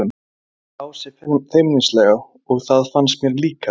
sagði Ása feimnislega og það fannst mér líka.